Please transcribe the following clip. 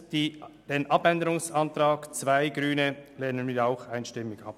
Den Abänderungsantrag 2 der Grünen lehnen wir ebenfalls einstimmig ab.